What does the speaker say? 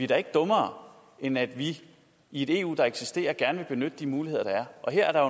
da ikke dummere end at vi i et eu der eksisterer gerne vil benytte de muligheder der er og her er